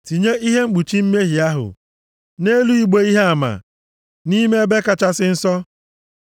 Tinye ihe mkpuchi mmehie ahụ nʼelu igbe ihe ama nʼime Ebe Kachasị Nsọ.